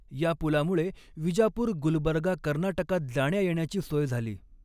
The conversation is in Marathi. य़ा पुला मुळे विजापुर गुलबर्गा कर्नाटकात जाण्या येण्याची सोय झाली.